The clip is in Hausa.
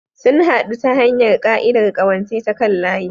Sun haɗu ta hanyar ƙa'idar ƙawance ta kan layi.